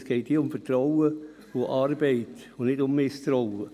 Es geht bei diesem Gesetz um Vertrauen und Arbeit und nicht um Misstrauen.